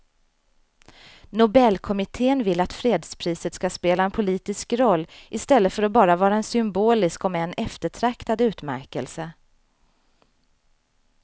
Nobelkommittén vill att fredspriset ska spela en politisk roll i stället för att bara vara en symbolisk om än eftertraktad utmärkelse.